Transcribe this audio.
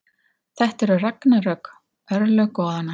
Þetta eru ragnarök, örlög goðanna.